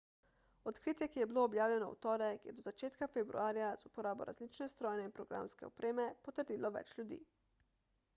odkritje ki je bilo objavljeno v torek je do začetka februarja z uporabo različne strojne in programske opreme potrdilo več ljudi